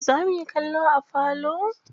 Za muyi kallo a falo.